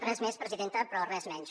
res més presidenta però res menys